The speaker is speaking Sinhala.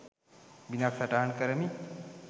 බිදක් සටහන් කරමි